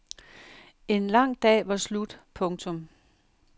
En lang dag var slut. punktum